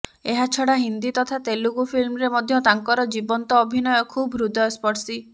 ଏହାଛଡା ହିନ୍ଦୀ ତଥା ତେଲୁଗୁ ଫିଲ୍ମରେ ମଧ୍ୟ ତାଙ୍କର ଜୀବନ୍ତ ଅଭିନୟ ଖୁବ୍ ହୃଦୟସ୍ପର୍ଶୀ